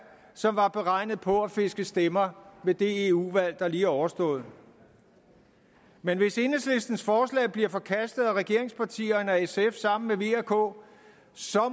som var beregnet på at fiske stemmer ved det eu valg der lige er overstået men hvis enhedslistens forslag bliver forkastet af regeringspartierne og sf sammen med v og k